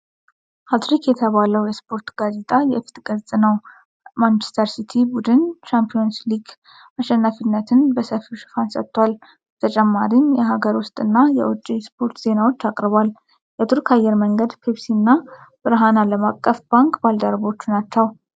"ሃት ትሪክ" የተባለው የስፖርት ጋዜጣ የፊት ገጽ ነው። ማንችስተር ሲቲ ቡድን ሻምፒዮንስ ሊግ አሸናፊነትን በሰፊው ሽፋን ሰጥቷል። በተጨማሪም የአገር ውስጥ እና የውጭ ስፖርት ዜናዎችን አቅርቧል። የቱርክ አየር መንገድ፣ ፔፕሲ እና ብርሃን ዓለም አቀፍ ባንክ ባልደረባዎቹ ናቸው።